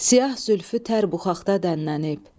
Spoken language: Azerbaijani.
Siyah zülfü tər buxaqda dənlənib.